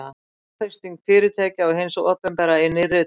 fjárfesting fyrirtækja og hins opinbera í nýrri tækni